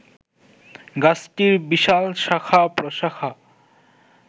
গাছটির বিশাল শাখা-প্রশাখা